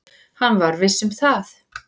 Hann var viss um það.